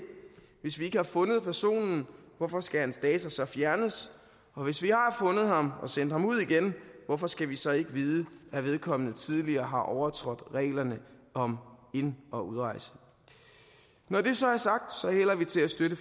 hvis vi ikke har fundet personen hvorfor skal hans data så fjernes og hvis vi har fundet ham og sendt ham ud igen hvorfor skal vi så ikke vide at vedkommende tidligere har overtrådt reglerne om ind og udrejse når det så er sagt hælder vi til at støtte